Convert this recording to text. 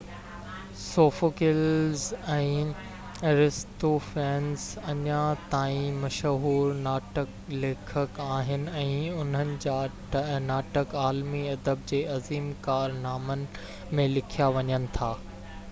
Sophocles ۽ Aristophanes اڃا تائين مشهور ناٽڪ ليکڪ آهن ۽ انهن جا ناٽڪ عالمي ادب جي عظيم ڪارنامن ۾ ليکيا وڃن ٿا